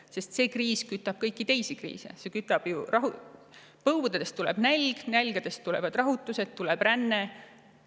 Sest see kriis kütab kõiki teisi kriise: põuad nälga, nälg rahutusi ja rännet.